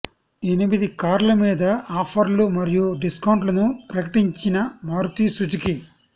ఎనిమిది కార్ల మీద ఆఫర్లు మరియు డిస్కౌంట్లను ప్రకటించిన మారుతి సుజుకి